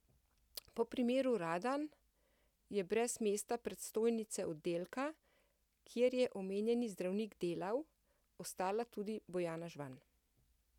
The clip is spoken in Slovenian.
Po primeru Radan je brez mesta predstojnice oddelka, kjer je omenjeni zdravnik delal, ostala tudi Bojana Žvan.